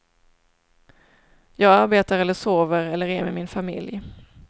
Jag arbetar eller sover eller är med min familj.